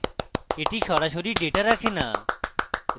এটি সরাসরি ডেটা রাখে না